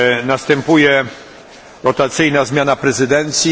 Następuje rotacyjna zmiana prezydencji.